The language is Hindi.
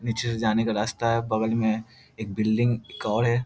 नीचे से जाने का रास्ता बगल में है एक बिल्डिंग एक और है।